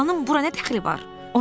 Xalanın bura nə dəxli var?